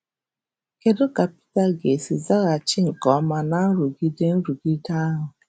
Kedu ka Pita ga-esi zaghachi nke ọma na nrụgide nrụgide ahụ?